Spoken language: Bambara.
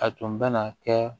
A tun bɛ na kɛ